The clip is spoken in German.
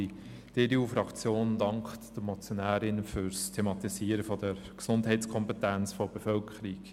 Die EDU-Fraktion dankt den Motionärinnen für das Thematisieren der Gesundheitskompetenz der Bevölkerung.